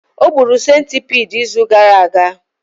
O gburu centipede izu gara aga